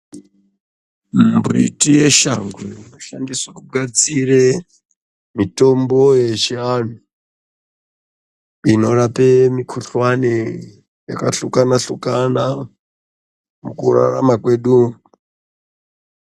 Mumbiti yeshango inoshandiswe kugadzire mitombo yechianhu inorape mukhuhlani yakahlukana-hlukana mukurarama kwedu umu.